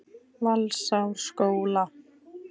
Valsárskóla